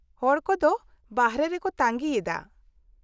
-ᱦᱚᱲ ᱠᱚᱫᱚ ᱵᱟᱨᱦᱮ ᱨᱮᱠᱚ ᱛᱟᱹᱜᱤᱭᱮᱫᱟ ᱾